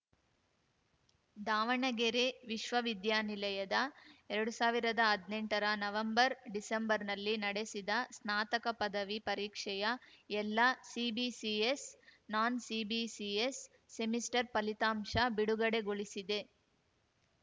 ದಾವಣಗೆರೆ ವಿಶ್ವ ವಿದ್ಯಾನಿಲಯದ ಎರಡ್ ಸಾವಿರ್ದಾ ಹದ್ನೆಂಟರ ನವೆಂಬರ್‌ ಡಿಸೆಂಬರ್‌ನಲ್ಲಿ ನಡೆಸಿದ ಸ್ನಾತಕ ಪದವಿ ಪರೀಕ್ಷೆಯ ಎಲ್ಲಾ ಸಿಬಿಸಿಎಸ್‌ ನಾನ್‌ಸಿಬಿಸಿಎಸ್‌ ಸೆಮಿಸ್ಟರ್‌ ಫಲಿತಾಂಶ ಬಿಡುಗಡೆಗೊಳಿಸಿದೆ